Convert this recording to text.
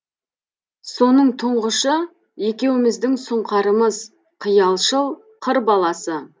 соның тұңғышы екеуміздің сұңқарымыз қиялшыл қыр баласы